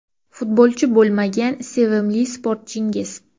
Futbolchi bo‘lmagan sevimli sportchingiz?